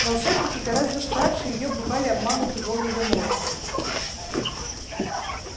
волшебники гораздо старше её бывали обмануты волан-де-мортом